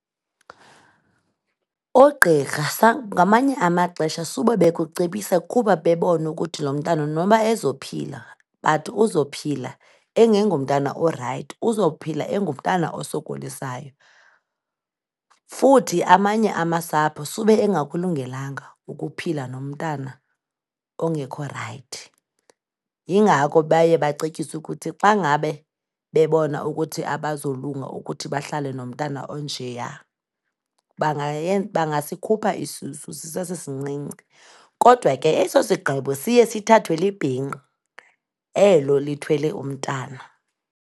Oogqirha ngamanye amaxesha sube bekucebisa kuba bebona ukuthi lo mntana noba ezophila, but uzophila engengomntana orayithi, uzophila engumntana osokolisayo. Futhi amanye amasapho sube engakulungelanga ukuphila nomntana ongekho rayithi. Yingako baye bacetyiswe ukuthi xa ngabe bebona ukuthi abazolunga ukuthi bahlale nomntana onjeya, bangasikhupha isisu sisesesincinci. Kodwa ke eso sigqibo siye sithathwe libhinqa elo lithwele umntana.